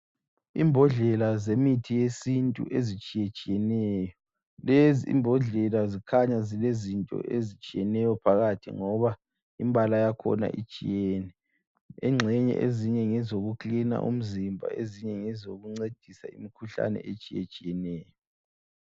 Imbodlela zemithi yesintu ezitshiyetshiyeneyo lezi imbodlela zikhanya zilezinto ezitshiyeneyo phakathi ngoba imbala yakhona itshiyeneyo, engxenye ezinye ngezoku kilina umzimba ezinye ngezokuncedisa imkhuhlane etshiyetshiyeneyo.